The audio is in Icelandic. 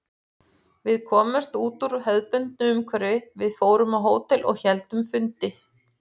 Við komumst út úr hefðbundnu umhverfi, við fórum á hótel og héldum fundi.